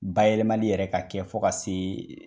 Bayɛlɛmali yɛrɛ ka kɛ fo ka se